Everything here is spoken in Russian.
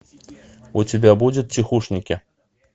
у тебя будет тихушники